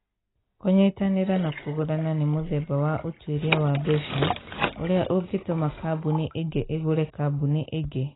Kũnyitanĩra na kũgũrana nĩ mũthemba wa ũtuĩria wa mbeca ũrĩa ũngĩtũma kambuni ĩngĩ ĩgũre kambuni ĩngĩ.